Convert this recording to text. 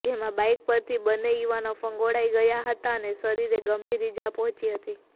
જેમાં બાઈક પરથી બન્ને યુવાનો ફંગોળાઈ ગયા હતા અને શરીરે ગંભીર ઈજા પહોંચી હતી